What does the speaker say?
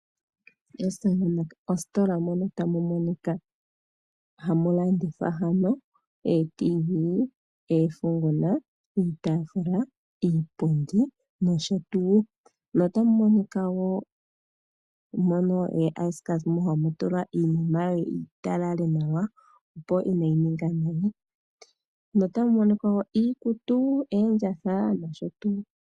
Ositola mono tamu monika hamu landithwa ootiivii, oofunguna, iitaafula, iipundi nosho tuu. Otamu monika ookila dhokutalaleka iinima yi talale nawa, opo kaayi ninge nayi. Otamu monika wo iikutu, oondjatha nosho tuu.